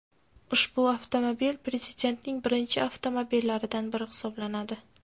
Ushbu avtomobil prezidentning birinchi avtomobillaridan biri hisoblanadi.